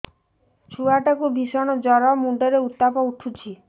ଛୁଆ ଟା କୁ ଭିଷଣ ଜର ମୁଣ୍ଡ ରେ ଉତ୍ତାପ ଉଠୁଛି